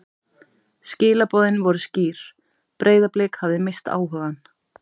Skilaboðin voru skýr: Breiðablik hafði misst áhugann.